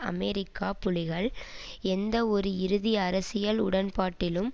America புலிகள் எந்தவொரு இறுதி அரசியல் உடன்பாட்டிலும்